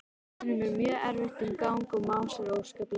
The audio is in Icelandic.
Honum er mjög erfitt um gang og másar óskaplega.